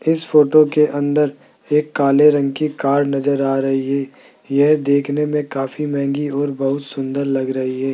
इस फोटो के अंदर एक काले रंग की कार नजर आ रही है यह देखने में काफी महंगी और बहुत सुंदर लग रही है।